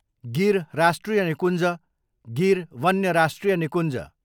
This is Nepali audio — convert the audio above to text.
गिर राष्ट्रिय निकुञ्ज, गिर वन्य राष्ट्रिय निकुञ्ज